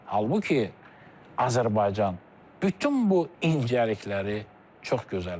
Halbuki Azərbaycan bütün bu incəlikləri çox gözəl bilir.